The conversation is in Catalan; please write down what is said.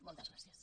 moltes gràcies